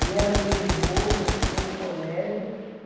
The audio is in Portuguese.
E ela me levou, mostrou o colégio.